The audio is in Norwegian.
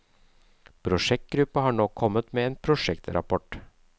Prosjektgruppa har nå kommet med en prosjektrapport.